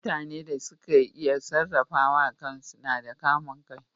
Mutane da ke iya sarrafawa kan su na da kamun kai.